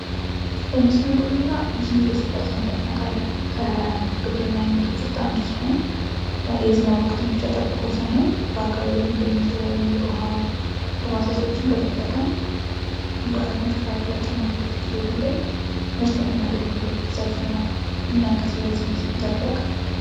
የመስኖ ግብርና ብዙ ጊዜ ሲባል ሰምተን እናቃለን ከግብርና አይነቶች መካክል አንዱ ሲሆን የዝናብ ወቅትን ብቻ ጠብቆ ሳይሆን በአካባቢው የሚገኙትን የተለያዩ የዉሀ ተፋሠሶችን በመጠቀም በአመት ከሁለት ጊዜ በላይ ምርት የምናገኝበት ዘርፍ ነው። ምን ያክል ስለዚህ ዘርፍ ያቃሉ?